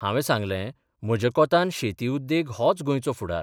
हावें सांगलें, म्हज्या कोंतान शेती उद्येग होच गोंयचो फुडार.